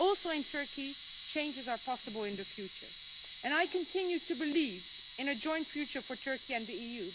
In Turkey, changes are possible in the future and I continue to believe in a joint future for Turkey and the EU.